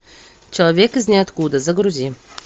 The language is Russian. человек из ниоткуда загрузи